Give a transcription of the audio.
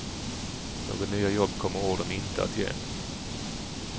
Några nya jobb kommer ordern inte att ge.